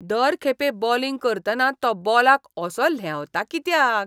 दर खेपे बोलिंग करतना तो बॉलाक असो ल्हेंवता कित्याक?